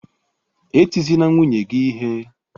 E tizina nwunye gị ihe!